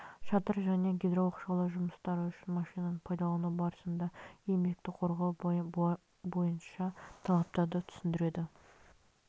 шатыр және гидрооқшаулау жұмыстары үшін машинаны пайдалану барысында еңбекті қорғау бойынша талаптарды түсіндіреді